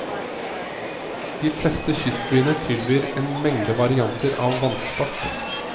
De fleste kystbyene tilbyr en mengde varianter av vannsport.